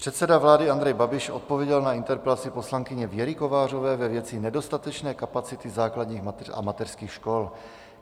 Předseda vlády Andrej Babiš odpověděl na interpelaci poslankyně Věry Kovářové ve věci nedostatečné kapacity základních a mateřských škol.